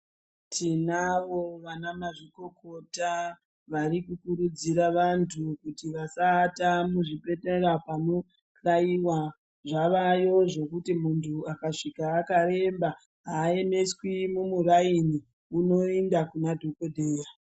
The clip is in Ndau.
Tinavo vana mazvikokota vari kukurudzira vantu kuti vasaata muzvibhedhlera panobayiwa ,zvavayo zvekuti muntu akasvika akaremba hayemeswi mumurayini unoenda kuna dhokodheya.